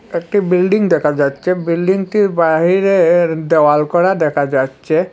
একটি বিল্ডিং দেখা যাচ্ছে বিল্ডিংটির বাহিরে-এর দেওয়াল করা দেখা যাচ্ছে।